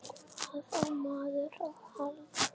Hvað á maður að halda?